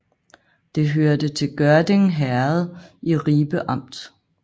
Det hørte til Gørding Herred i Ribe Amt